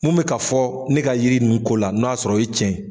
Mun bɛ ka fɔ ne ka yiri ninnu ko la n'o y'a sɔrɔ o ye tiɲɛ ye?